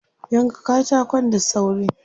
Yanka katakon da sauri.